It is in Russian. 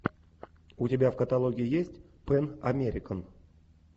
у тебя в каталоге есть пэн американ